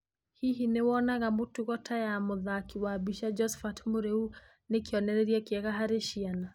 Hihi nĩ wonaga mutugo ta ya muthaki wa bica Josphat Mũriu nĩ kĩonereria kĩega harĩ ciana?